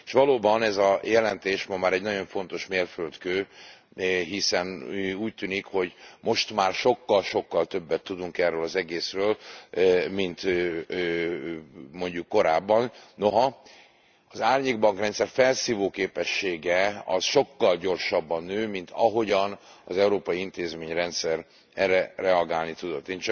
És valóban ez a jelentés ma már egy nagyon fontos mérföldkő, hiszen úgy tűnik, hogy most már sokkal sokkal többet tudunk erről az egészről, mint mondjuk korábban, noha az árnyékbankrendszer felszívó képessége sokkal gyorsabban nő, mint ahogyan az európai intézményrendszer erre reagálni tudott.